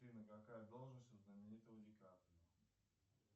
афина какая должность у знаменитого ди каприо